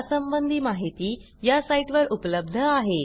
यासंबंधी माहिती या साईटवर उपलब्ध आहे